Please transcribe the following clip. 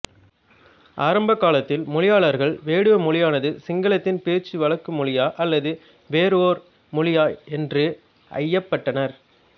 ஆரம்பகாலத்தில் மொழியியலாளர்கள் வேடுவ மொழியானது சிங்களத்தின் பேச்சு வழக்கு மொழியா அல்லது வேறு ஓர் மொழியா என்று ஐயப்பட்டனர்